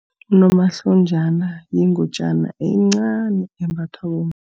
Unomahlonjana yingutjana encani embathwa